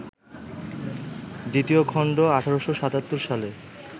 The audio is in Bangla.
দ্বিতীয় খণ্ড ১৮৭৭ সালে